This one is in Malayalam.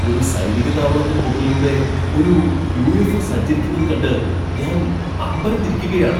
ഒരു സൈനിക താവളത്തിന് മുകളിലൂടെ ഒരു യു. എഫ്. ഒ സഞ്ചരിക്കുന്നത് കണ്ട് ഞാൻ അമ്പരന്നിരിക്കുകയാണ്.